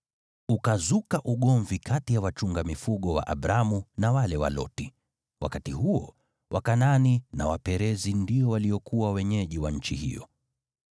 Ukazuka ugomvi kati ya wachunga mifugo wa Abramu na wale wa Loti. Wakati huo, Wakanaani na Waperizi ndio waliokuwa wenyeji wa nchi hiyo.